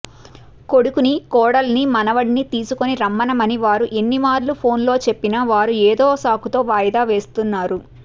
కొడుకుని కోడలిని మనవడిని తీసుకొని రమ్మనమని వారికి ఎన్నిమార్లు ఫోన్లో చెప్పినా వారు ఏదో సాకుతో వాయిదా వేస్తున్నారు